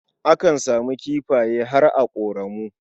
Akan samu kifaye har a ƙoramu.